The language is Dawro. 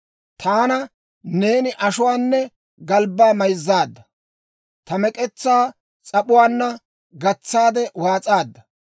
Taana neeni ashuwaanne galbbaa mayzzaadda; ta mek'etsaa s'ap'uwaanna gatsaade waas'aadda.